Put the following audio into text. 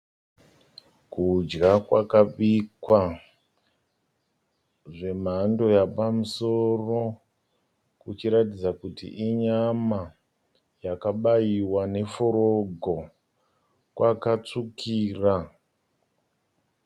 Kudya kwakabikwa zvemhando yapamusoro. Kuchiratidza kuti inyama yakabaiwa neforoko kwakatsvukira.